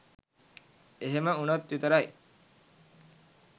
එහෙම වුණොත් විතරයි